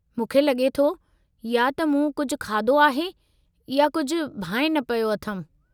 मूंखे लॻे थो या त मूं कुझु खाधो आहे या कुझु भांइ न पियो अथमि।